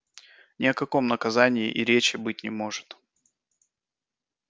ни о каком наказании и речи быть не может